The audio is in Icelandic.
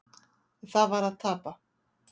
Það var að tapa.